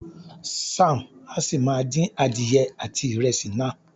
Zam a si máa din adìyẹ àti ìrẹsì náà.